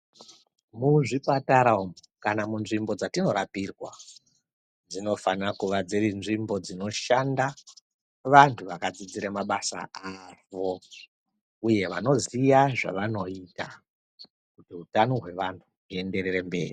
Muzvipatara umu kana munzvimbo dzatinorapirwa dzinofanira kuva dziri nzvimbo dzinoshanda vantu vakadzidzira mabasa avo uye vanoziya zvavanoita kuti utano hwevantu huenderere mberi.